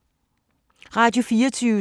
Radio24syv